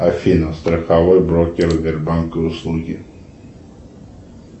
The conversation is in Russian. афина страховой брокер сбербанка услуги